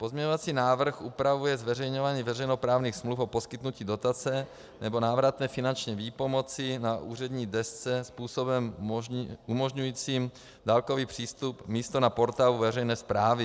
Pozměňovací návrh upravuje zveřejňování veřejnoprávních smluv o poskytnutí dotace nebo návratné finanční výpomoci na úřední desce způsobem umožňujícím dálkový přístup místo na portálu veřejné správy.